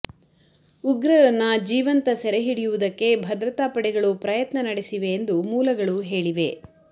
ಉಗ್ರರನ್ನ ಜೀವಂತ ಸೆರೆಹಿಡಿಯುವದಕ್ಕೆ ಭದ್ರತಾ ಪಡೆಗಳು ಪ್ರಯತ್ನ ನಡೆಸಿವೆ ಎಂದು ಮೂಲಗಳು ಹೇಳಿವೆ